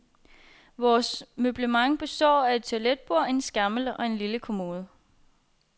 Vores møblement består af et toiletbord, en skammel og en lille kommode.